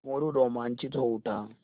मोरू रोमांचित हो उठा